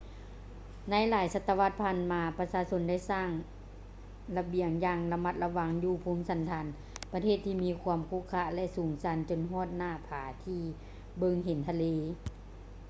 ໃນຫຼາຍສະຕະວັດຜ່ານມາ ປະຊາຊົນໄດ້ສ້າງລະບຽງຢ່າງລະມັດລະວັງຢູ່ພູມສັນຖານປະເທດທີ່ມີຄວາມຂຸຂະ ແລະ ສູງຊັນຈົນຮອດໜ້າຜາທີ່ເບິ່ງເຫັນທະເລ